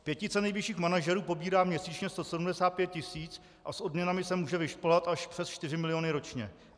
Pětice nejvyšších manažerů pobírá měsíčně 175 tisíc a s odměnami se může vyšplhat až přes 4 miliony ročně.